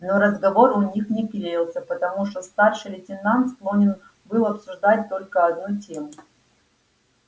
но разговор у них не клеился потому что старший лейтенант склонен был обсуждать только одну тему